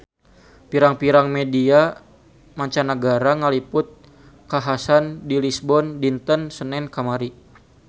Pirang-pirang media mancanagara ngaliput kakhasan di Lisbon dinten Senen kamari